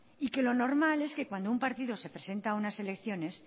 y que lo normal es que cuando un partido se presenta a unas elecciones